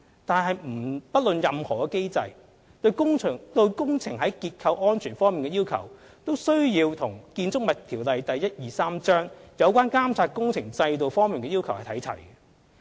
但是，不論屬機制為何，其對工程在結構安全方面的要求都需要與《建築物條例》有關監察工程制度方面的要求看齊。